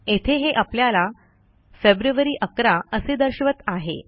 येथे हे आपल्याला फेब्रुअरी 11 असे दर्शवत आहे